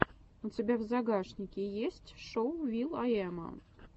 у тебя в загашнике есть шоу вил ай эма